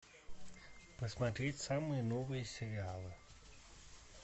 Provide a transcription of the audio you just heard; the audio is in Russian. посмотреть самые новые сериалы